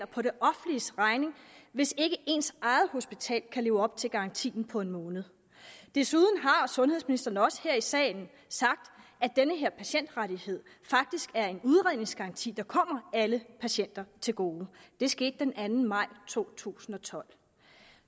på det offentliges regning hvis ikke ens eget hospital kan leve op til garantien på en måned desuden har sundhedsministeren også her i salen sagt at den her patientrettighed faktisk er en udredningsgaranti der kommer alle patienter til gode det skete den anden maj to tusind og tolv